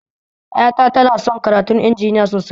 Ƴata tana son karatun injiniya sosai